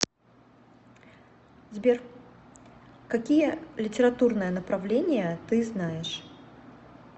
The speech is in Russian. сбер какие литературное направление ты знаешь